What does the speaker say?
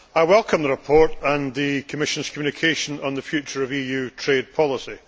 I welcome the report and the Commission's communication on the future of EU trade policy.